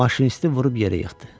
Maşinisti vurub yerə yıxdı.